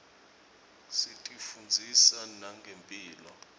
tisifundzisa nangemphilo